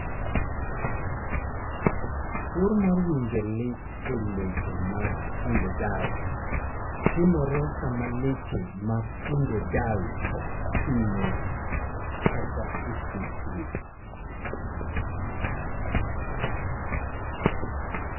Tuwo mar winjo lit e leche mag pudendal timore sama leche mar pudendal ohinyo kata osetue.